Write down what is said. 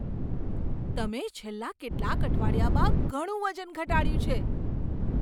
તમે છેલ્લા કેટલાક અઠવાડિયામાં ઘણું વજન ઘટાડ્યું છે!